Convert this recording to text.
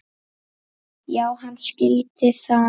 Já, hann skildi það.